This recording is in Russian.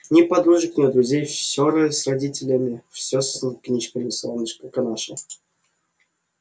ни подружек ни друзей всё с родителями всё с книжками солнышко наше